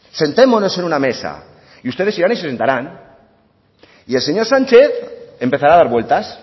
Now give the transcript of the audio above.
sentémonos en una mesa y ustedes irán y se sentarán y el señor sánchez empezará a dar vueltas